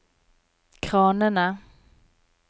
kranene